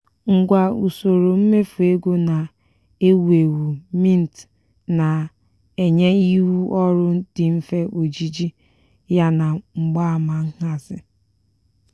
ngwa usoro mmefu ego na-ewu ewu mint na-enye ihu ọrụ dị mfe ojiji ya na mgbaama nhazi.